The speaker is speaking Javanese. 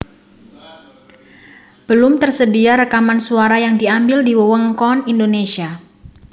Belum tersedia rekaman suara yang diambil di wewengkon Indonesia